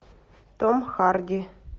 том харди